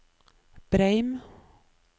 Breim